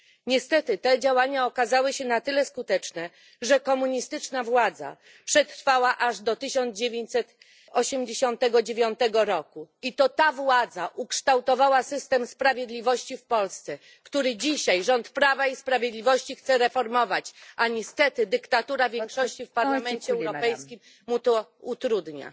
Niestety te działania okazały się na tyle skuteczne, że komunistyczna władza przetrwała aż do 1989 roku i to ta władza ukształtowała system sprawiedliwości w Polsce, który dzisiaj rząd Prawa i Sprawiedliwości chce reformować, a niestety dyktatura większości w Parlamencie Europejskim mu to utrudnia.